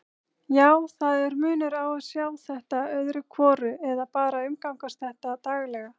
Já, það er munur á að sjá þetta öðru hvoru eða bara umgangast þetta daglega.